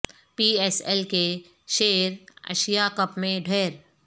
پی S L کے شیر Asia Cup میں ڈھیر